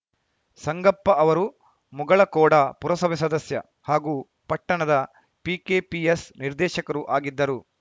ಸಂಗಪ್ಪ ಅವರು ಮುಗಳಖೋಡ ಪುರಸಭೆ ಸದಸ್ಯ ಹಾಗೂ ಪಟ್ಟಣದ ಪಿಕೆಪಿಎಸ್‌ ನಿರ್ದೇಶಕರೂ ಆಗಿದ್ದರು